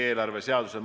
Aitäh!